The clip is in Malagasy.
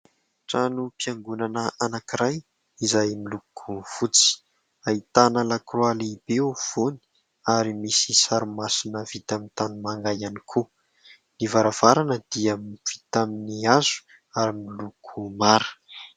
Trano mpiangonana anankiray izay miloko fotsy, ahitana lakroa lehibe eo afovoany, ary misy sary masina vita amin'ny tany manga ihany koa. Ny varavarana dia vita amin'ny hazo ary miloko mara.